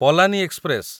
Palani express